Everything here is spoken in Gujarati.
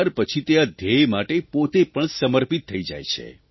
ત્યાર પછી તે આ ધ્યેય માટે પોતે પણ સમર્પિત થઇ જાય છે